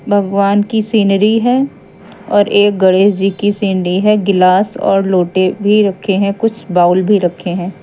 भगवान की सीनरी है और एक गणेश जी की सीनरी है गिलास और लोटे भी रखे हैं कुछ बाउल भी रखे हैं।